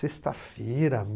Sexta-feira?